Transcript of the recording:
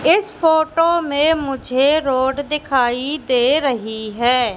इस फोटो में मुझे रोड दिखाई दे रही है।